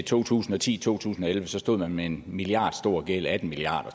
to tusind og ti to tusind og elleve stod man med en milliardstor gæld atten milliard